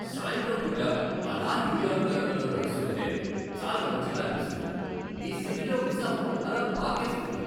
సాయంత్రం పూట ఆలా న్యూయార్క్ నగరంలో నడుస్తూ ఉంటె చాలా మంచిగా అనిపిస్తుంది. ఈ సిటీలో ఉత్సాహం అలా పాకేస్తుంది.